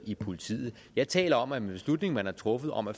i politiet jeg taler om en beslutning man har truffet om at